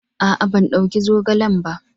A'a, ban dauka zogalen ba.